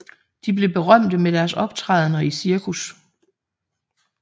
De blev berømte med deres optrædender i cirkus